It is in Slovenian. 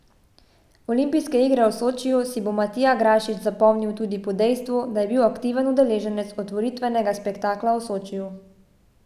Olimpijske igre v Sočiju si bo Matija Grašič zapomnil tudi po dejstvu, da je bil aktiven udeleženec otvoritvenega spektakla v Sočiju.